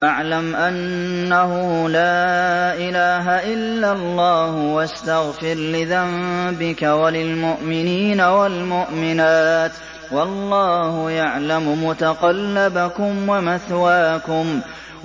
فَاعْلَمْ أَنَّهُ لَا إِلَٰهَ إِلَّا اللَّهُ وَاسْتَغْفِرْ لِذَنبِكَ وَلِلْمُؤْمِنِينَ وَالْمُؤْمِنَاتِ ۗ وَاللَّهُ يَعْلَمُ مُتَقَلَّبَكُمْ وَمَثْوَاكُمْ